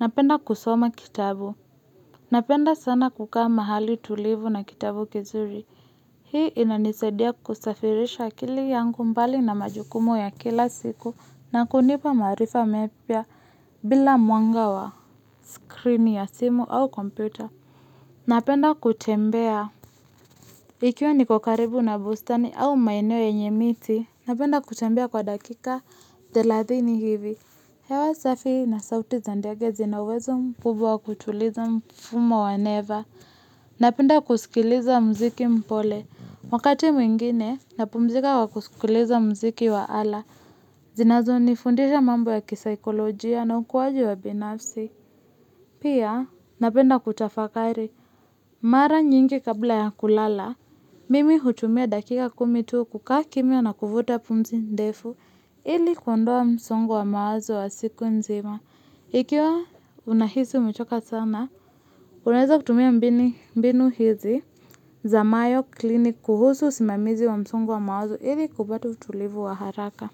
Napenda kusoma kitabu. Napenda sana kukaa mahali tulivu na kitabu kizuri. Hii inanisadia kusafirisha akili yangu mbali na majukumu ya kila siku na kunipa marifa mepia bila mwanga wa screen ya simu au komputer. Napenda kutembea. Ikiwa ni kukaribu na bustani au maineo ya enye miti, napenda kuchambia kwa dakika deladhini hivi. Hewa safi na sauti za ndege zinawezo mkubwa wa kuchuliza mfumo wa neva. Napenda kusikiliza mziki mpole. Wakati mwingine, napumzika wa kusikiliza mziki wa ala. Zinazo nifundisha mambo ya kisikolojia na ukuwaji wa binafsi. Pia, napenda kutafakari. Mara nyingi kabla ya kulala, mimi hutumia dakika kumitu kukaa kimya na kufuta pumzi ndefu ili kundua msongo wa mawazo wa siku nzima. Ikiwa unahisu umichoka sana, uneza kutumia mbini mbinu hizi za mayo klinikuhusu simamizi wa msongo wa mawazo ili kubatu tulivu wa haraka.